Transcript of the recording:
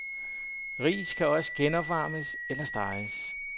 Ris kan også genopvarmes eller steges.